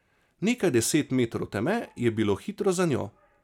Nekaj deset metrov teme je bilo hitro za njo.